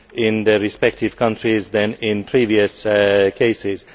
in their respective countries than in previous cases.